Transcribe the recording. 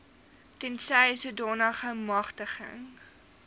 tensy sodanige magtiging